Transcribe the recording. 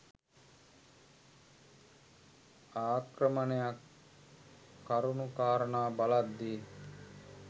ආක්‍රමණයක් කරුණු කාරණා බලද්දී